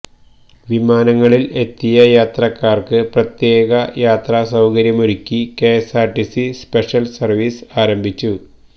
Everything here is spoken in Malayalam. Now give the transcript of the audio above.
വിമാനങ്ങളില് എത്തിയ യാത്രക്കാര്ക്ക് പ്രത്യേക യാത്ര സൌകര്യമൊരുക്കി കെഎസ്ആര്ടിസി സ്പെഷ്യല് സര്വീസ് ആരംഭിച്ചു